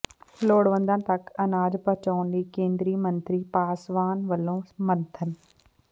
ਲੋੜਵੰਦਾਂ ਤੱਕ ਅਨਾਜ ਪਹੁੰਚਾਉਣ ਲਈ ਕੇਂਦਰੀ ਮੰਤਰੀ ਪਾਸਵਾਨ ਵੱਲੋਂ ਮੰਥਨ